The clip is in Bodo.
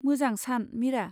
मोजां सान, मिरा।